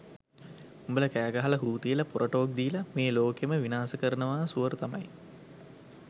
උඹල කෑ ගහල හු තියල පොර ටෝක් දීල මේ ලෝකෙම විනාස කරනාව සුවර් තමයි